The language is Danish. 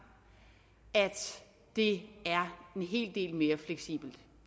at det er en hel del mere fleksibelt